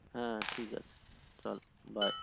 হ্যা ঠিক আছে তাহলে bye